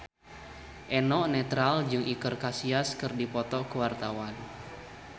Eno Netral jeung Iker Casillas keur dipoto ku wartawan